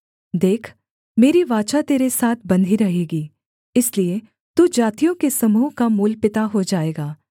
देख मेरी वाचा तेरे साथ बंधी रहेगी इसलिए तू जातियों के समूह का मूलपिता हो जाएगा